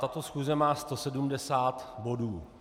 Tato schůze má 170 bodů.